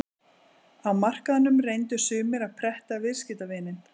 Á markaðnum reyndu sumir að pretta viðskiptavininn.